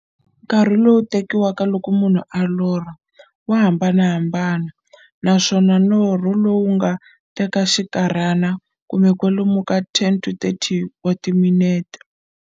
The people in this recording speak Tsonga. Nkarhi lowu tekiwaka loko munhu a lorha, wa hambanahambana, naswona norho wu nga teka xinkarhana, kumbe kwalomu ka 20 to 30 wa timinete.